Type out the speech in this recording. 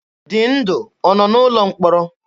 Dịndụ ọ nọ n'ụlọ mkpọrọ?